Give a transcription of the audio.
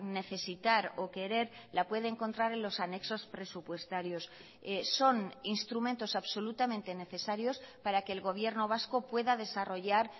necesitar o querer la puede encontrar en los anexos presupuestarios son instrumentos absolutamente necesarios para que el gobierno vasco pueda desarrollar